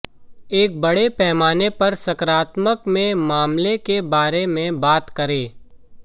एक बड़े पैमाने पर सकारात्मक में मामले के बारे में बात करें